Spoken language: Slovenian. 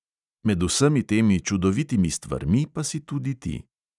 Med vsemi temi čudovitimi stvarmi pa si tudi ti.